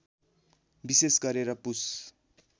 विशेष गरेर पुष